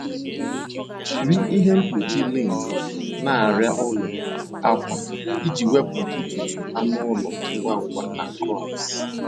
Jiri ihe mkpuchi lint na arịa ụlọ akwa iji wepụ ntutu anụ ụlọ ngwa ngwa na crumbs.